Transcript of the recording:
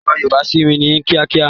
So yòòbá sími ní kíákíá!